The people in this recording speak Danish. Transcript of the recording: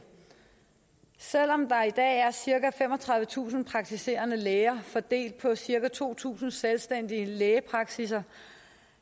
selv om der i dag er cirka femogtredivetusind praktiserende læger fordelt på cirka to tusind selvstændige lægepraksisser